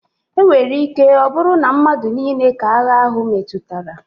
O nwere ike ọ bụrụ na madu nile ka agha ahụ metụtara.